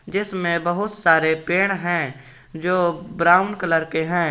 जिसमें बहुत सारे पेड़ हैं जो ब्राउन कलर के हैं।